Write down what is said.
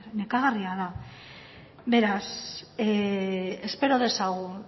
nekagarria da beraz espero dezagun